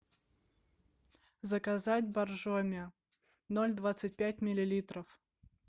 заказать боржоми ноль двадцать пять миллилитров